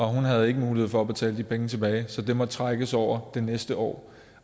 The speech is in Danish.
hun havde ikke mulighed for at betale de penge tilbage så de måtte trækkes over det næste år